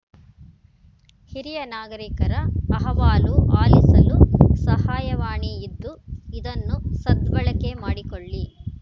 ಹಿರಿಯ ನಾಗರಿಕರ ಅಹವಾಲು ಆಲಿಸಲು ಸಹಾಯವಾಣಿ ಇದ್ದು ಇದನ್ನು ಸದ್ಬಳಕೆ ಮಾಡಿಕೊಳ್ಳಿ